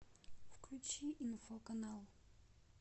включи инфо канал